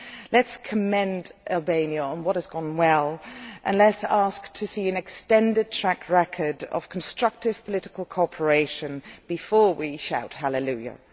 Let us commend Albania on what has gone well and let us ask to see an extended track record of constructive political cooperation before we shout halleluiah.